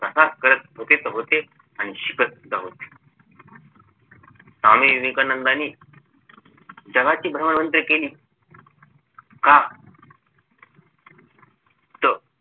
प्रसार करत होते आणि शिकत सुद्धा होते स्वामी विवेकानंदानी जगाची भ्रमंती केली का त